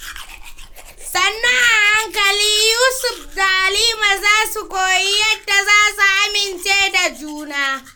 Sannu a hankali, Yusuf da Halima za su koyi yadda za su amince da juna.